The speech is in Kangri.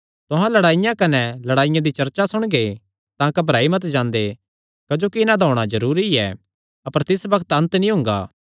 तुहां लड़ाईयां कने लड़ाईयां दी चर्चा सुणगे तां घबराई मत जांदे क्जोकि इन्हां दा होणा जरूरी ऐ अपर तिस बग्त अन्त नीं हुंगा